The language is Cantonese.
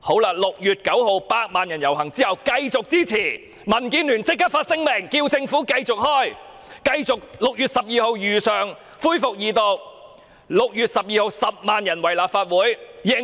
在6月9日百萬人遊行後，民建聯立即發出聲明，要求政府繼續如期於6月12日恢復條例草案的二讀辯論。